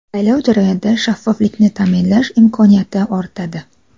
Saylov jarayonida shaffoflikni ta’minlash imkoniyati ortadi.